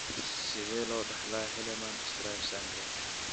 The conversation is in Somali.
Sidee loo dhaxlaa Hallermann Streiff syndrome?